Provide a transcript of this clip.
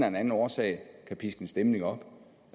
anden årsag kan piske en stemning op